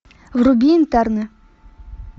вруби интерны